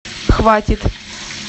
хватит